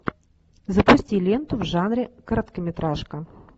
запусти ленту жанре короткометражка